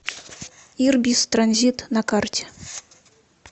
ирбис транзит на карте